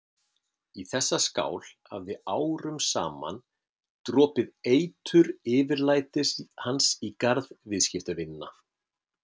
Í þessa skál hafði árum saman dropið eitur yfirlætis hans í garð viðskiptavinanna.